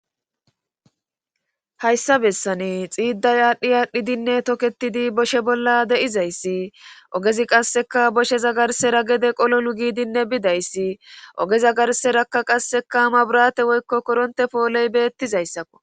Hayssa bessani xiiday aadhdhi aadhdhidinne toketidi boshe bolla de7izayssi ogezi qasseka boshe za garsera gede qololu giidinne bidayssi oge zagarserakka qassekaama burate woykko koronte pooley beettizayssakko